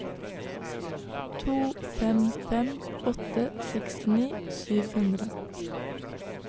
to fem fem åtte sekstini sju hundre